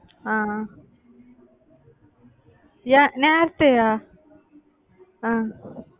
அஹ் அஹ் அஹ்